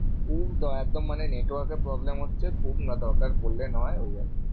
খুব একদম মানে network এর problem হচ্ছে। খুব না দরকার পড়লে নয় ওই আরকি।